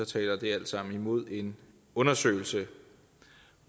taler det alt sammen imod en undersøgelse